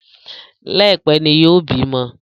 Laipẹ ní yóò bímọ